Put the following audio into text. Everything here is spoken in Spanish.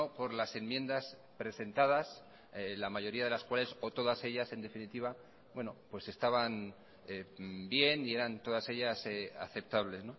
por las enmiendas presentadas la mayoría de las cuales o todas ellas en definitiva bueno pues estaban bien y eran todas ellas aceptables